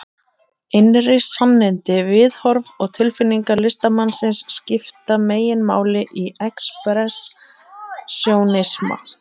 Innri sannindi, viðhorf og tilfinningar listamannsins skipta meginmáli í expressjónisma.